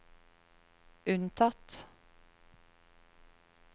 unntatt